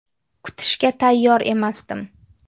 Kutishga tayyor emasdim.